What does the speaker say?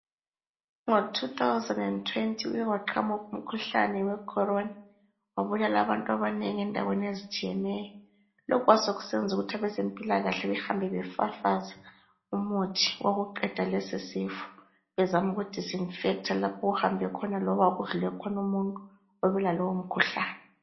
Ngo 2020 kuke kwaqhamuka umkhuhlane we Corona, wabulala abantu abanengi endaweni ezitshiyeneyo. Lokhu kwasekusenza ukuthi abezempilakahle behambe befafaza umuthi wokuqeda lesisifo bezama uku-disinfector lapho okuhambe khona loba okudlule khona umuntu oyabe elalowo mkhuhlane.